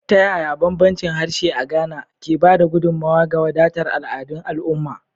Ta yaya bambancin harshe a Ghana, ke ba da gudummawa ga wadatar al'adun al'umma?